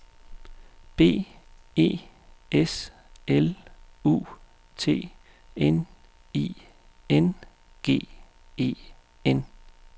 B E S L U T N I N G E N